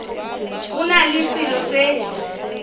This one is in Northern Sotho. go na le selo se